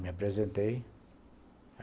Me apresentei.